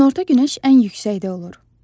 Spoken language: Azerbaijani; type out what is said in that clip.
Günorta günəş ən yüksəkdə olur.